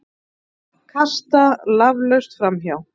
Kasta laflaust framhjá.